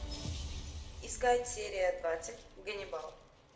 искать серия двадцать ганнибал